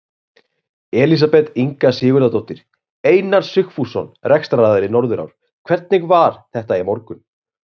Elísabet Inga Sigurðardóttir: Einar Sigfússon, rekstraraðili Norðurár, hvernig var þetta í morgun?